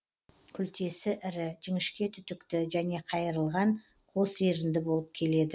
күлтесі ірі жіңішке түтікті және қайырылған қос ерінді болып келеді